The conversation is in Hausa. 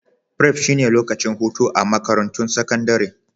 Prep shine lokacin hutu a Makarantun Sakandare